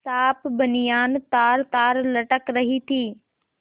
साफ बनियान तारतार लटक रही थी